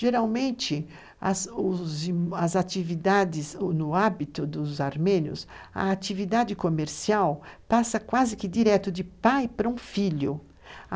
Geralmente, no hábito dos armênios, a atividade comercial passa quase que direto de pai para um filho.